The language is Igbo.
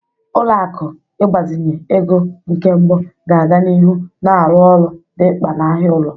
Ụlọ akụ ịgbazinye ego nke mbụ ga-aga n'ihu na-arụ ọrụ dị mkpa n'ahịa ụlọ.